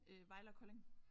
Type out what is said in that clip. Øh Vejle og Kolding